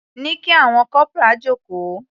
Ní kí àwọn corporal jókòó.